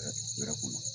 Wɛrɛ kunna